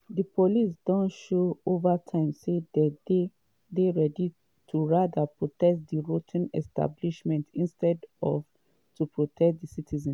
“di police don show over time say dey dey ready to rather protect di rot ten establishment instead of to protect di citizens.”